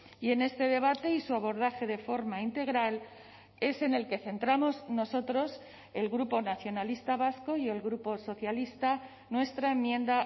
y en este debate y su abordaje de forma integral es en el que centramos nosotros el grupo nacionalista vasco y el grupo socialista nuestra enmienda